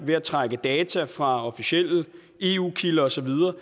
ved at trække data ud fra officielle eu kilder og så videre